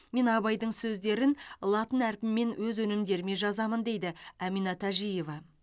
мен абайдың сөздерін латын әрпімен өз өнімдеріме жазамын дейді әмина тәжиева